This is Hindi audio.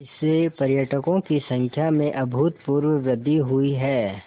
इससे पर्यटकों की संख्या में अभूतपूर्व वृद्धि हुई है